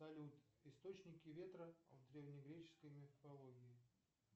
салют источники ветра в древнегреческой мифологии